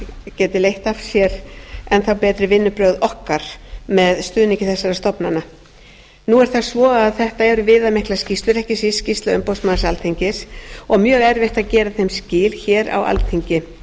geti leitt af sér enn þá betri vinnubrögð okkar með stuðningi þessara stofnana nú er það svo að þetta eru viðamiklar skýrslur ekki síst skýrsla umboðsmanns alþingis og mjög erfitt að gera þeim skil hér á alþingi